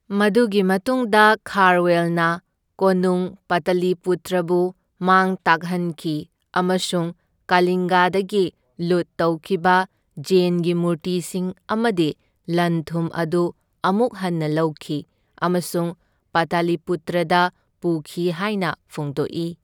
ꯃꯗꯨꯒꯤ ꯃꯇꯨꯡꯗ ꯈꯥꯔꯋꯦꯜꯅ ꯀꯣꯅꯨꯡ ꯄꯇꯂꯤꯄꯨꯇ꯭ꯔꯕꯨ ꯃꯥꯡ ꯇꯥꯛꯍꯟꯈꯤ ꯑꯃꯁꯨꯡ ꯀꯂꯤꯡꯒꯗꯒꯤ ꯂꯨꯠ ꯇꯧꯈꯤꯕ ꯖꯦꯟꯒꯤ ꯃꯨꯔꯇꯤꯁꯤꯡ ꯑꯃꯗꯤ ꯂꯟ ꯊꯨꯝ ꯑꯗꯨ ꯑꯃꯨꯛ ꯍꯟꯅ ꯂꯧꯈꯤ ꯑꯃꯁꯨꯡ ꯄꯇꯂꯤꯄꯨꯇ꯭ꯔꯗ ꯄꯨꯈꯤ ꯍꯥꯏꯅ ꯐꯣꯡꯗꯣꯛꯏ꯫